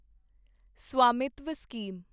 Svamitva scheme